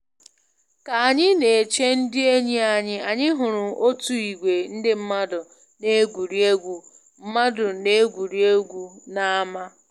Ka anyị na-eche ndị enyi anyị, anyị hụrụ otu ìgwè ndị mmadụ na-egwuri egwu mmadụ na-egwuri egwu n'ámá